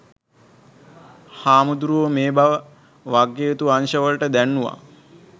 හාමුදුරුවෝ මේ බව වගකිවයුතු අංශ වලට දැන්වුවා.